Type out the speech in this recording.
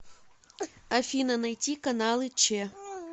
афина найти каналы че